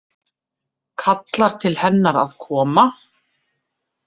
Kallar til hennar að koma.